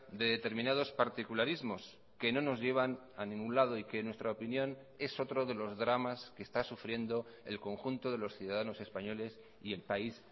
de determinados particularismos que no nos llevan a ningún lado y que en nuestra opinión es otro de los dramas que está sufriendo el conjunto de los ciudadanos españoles y el país